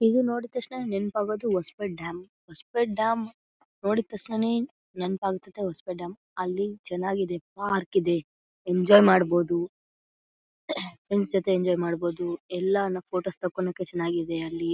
ಇದು ನೋಡಿತಕ್ಷಣ ನೆನಪಾಗೋದು ಹೊಸಪೇಡ್ ಡ್ಯಾಮ್ ಹೊಸಪೇಡ್ ಡ್ಯಾಮ್ ನೋಡಿತಕ್ಷಣನೇ ನೆನೆಪಾತ್ತದೆ ಹೊಸಪೇಡ್ ಡ್ಯಾಮ್ ಅಲ್ಲಿ ಚನ್ನಾಗಿದೆ ಪಾರ್ಕ್ ಇದೆ ಎಂಜಾಯ್ ಮಾಡಬಹುದು ಫ್ರೆಂಡ್ಸ್ ಜೊತೆ ಎಂಜಾಯ್ ಮಾಡಬಹುದು ಎಲ್ಲಾನು ಫೋಟೋಸ್ ತಕೋನಿಕ್ಕೆ ಚನ್ನಾಗಿದೆ ಅಲ್ಲಿ .